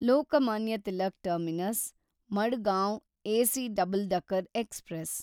Lokmanya Tilak terminus Madgaon AC double decker express